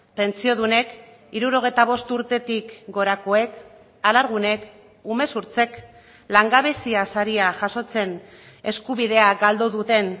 pentsiodunek hirurogeita bost urtetik gorakoek alargunek umezurtzek langabezia saria jasotzen eskubidea galdu duten